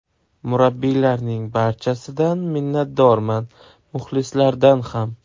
Murabbiylarning barchasidan minnatdorman, muxlislardan ham.